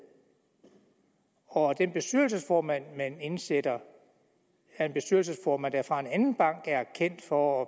og at den bestyrelsesformand man indsætter er en bestyrelsesformand der fra en anden bank er kendt for